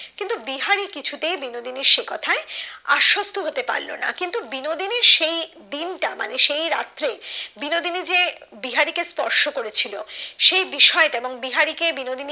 বিহারি কিছুতেই বিনোদিনী সেই কথাই আসস্ত হতে পারল না কিন্তু বিনোদিনীর সেই দিন টা মনে সেই রাত্রে বিনোদিনী যে বিহারি কে স্পর্শ করে ছিল সেই বিষয়টা এবং বিহারি কে বিনোদিনী